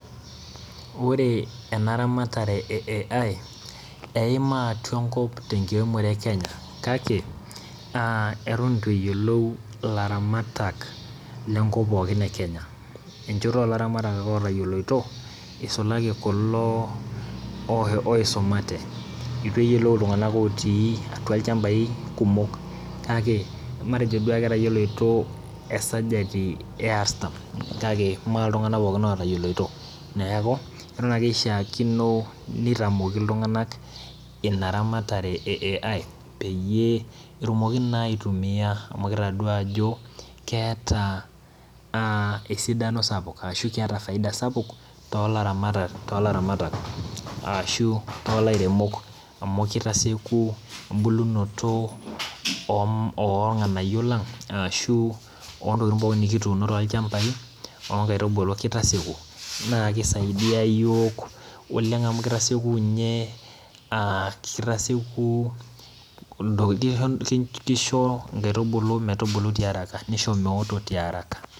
Ore enaramatare e AI eima atua enkop tenkiremore e kenya kake aatan itueyiolou laramatak lenkop pookin ekenya, enchoto olaramatak ake otoyoloto isulaki kulo oisumate, itueyiolou ltunganak otii atua lchambai kumok kake matejo duo ake etayioloto esajati earthan, kake meltunganak pookin otayioloto, neaku etan ake ishaakino nitamoki ltunganak inaramatare e AI peyieu etumokini na aitumia amu kitadua ajo keeta a esidanosapuk ashu keeta faida sapuk tolaramatak arashu tolairemok amu kitasieku embulunoto ornganayio lang ashu lontokitin pokini nikituuno tolchambai onkaitubulu, kitasieku nakisaidia yiok oleng amu kitasieku nye kitasieku kisho nkaitubulu ebulu tiaraka .